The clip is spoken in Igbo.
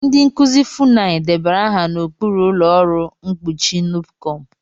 Ndị nkuzi Funai debara aha n'okpuru ụlọ ọrụ mkpuchi Nupecom